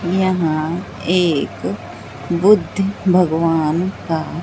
यहां एक बुद्ध भगवान का--